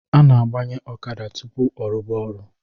A na-abanye ọkada tupu ọrụba ọrụ